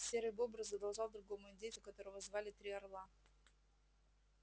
серый бобр задолжал другому индейцу которого звали три орла